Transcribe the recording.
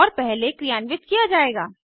और पहले क्रियान्वित किया जायेगा